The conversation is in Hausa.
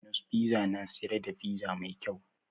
Dominos fiza na siyar da fiza mai kau